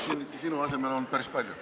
Ei, ma siin sinu asemel olen päris palju olnud.